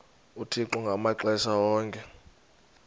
uthixo ngamaxesha onke